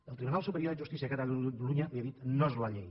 el tribunal superior de justícia de catalunya li ha dit no és la llei